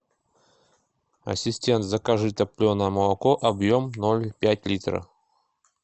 ассистент закажи топленое молоко объем ноль пять литра